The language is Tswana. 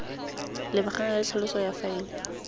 lebagana le tlhaloso ya faele